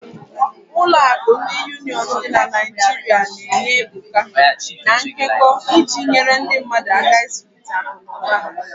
Ụlọ akụ ndi Union dị na Naijiria na-enye ebuka, na nkekọ, iji nyere ndị mmadu aka ịzụlite akụ na ụba ha.